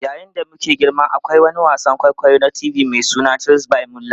Yayin da muke girma, akwai wani wasan kwaikwayo na TV mai suna Tales by Moonlight.